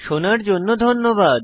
শোনার জন্য ধন্যবাদ